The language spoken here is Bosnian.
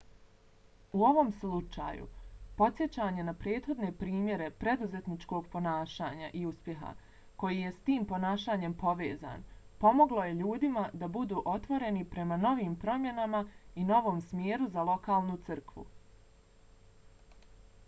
u ovom slučaju podsjećanje na prethodne primjere preduzetničkog ponašanja i uspjeha koji je s tim ponašanjem povezan pomoglo je ljudima da budu otvoreni prema novim promjenama i novom smjeru za lokalnu crkvu